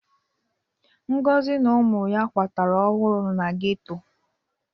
Ngozi na ụmụ ya kwatara ọhụrụ na geto.